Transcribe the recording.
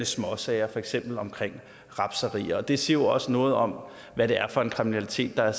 småsager for eksempel om rapserier og det siger jo også noget om hvad det er for en kriminalitet der